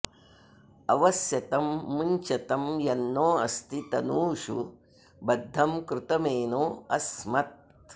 अवस्यतं मुञ्चतं यन्नो अस्ति तनूषु बद्धं कृतमेनो अस्मत्